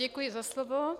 Děkuji za slovo.